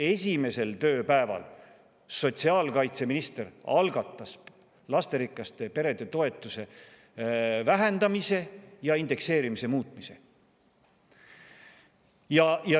Esimesel tööpäeval algatas sotsiaalkaitseminister lasterikaste perede toetuse vähendamise ja indekseerimise muutmise.